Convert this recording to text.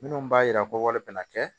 Minnu b'a yira ko wale bɛ na kɛ